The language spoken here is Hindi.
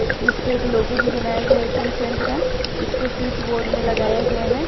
इस पे एक लोगो भी बनाया गया है एशियनपेंट का इसको स्विच बोर्ड में लगाया गया है।